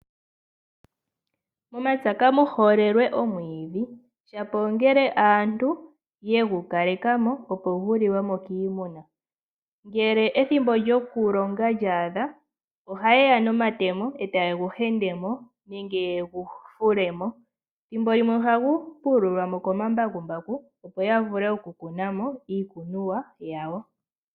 Momapya kamu holelwe omwiidhi, shapo ongele aantu yegu kaleka mo opo guli we mo kiimuna. Ngele ethimbo lyoku longa lya adha, ohaye ya nomatemo, e taye gu hende mo nenge yegufule mo. Ethimbo limwe ohagu fulilwa mo komambakumbaku opo ya vule oku kuna mo iikunomwa yawo.